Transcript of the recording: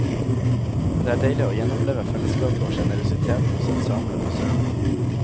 Det er deilig å gjenoppleve fellesskapet og generøsiteten hos ensemblet på scenen.